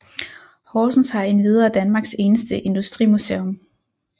Horsens har endvidere Danmarks eneste industrimuseum